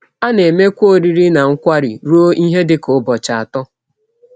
A na - emekwa ọrịrị na nkwari rụọ ihe dị ka ụbọchị atọ.